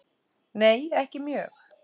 Nei ekki mjög.